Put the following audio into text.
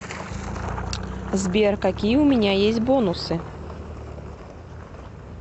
сбер какие у меня есть бонусы